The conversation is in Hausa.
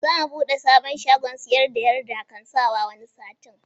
Za mu buɗe sabon shagon siyar da yarda kan sawa wani satin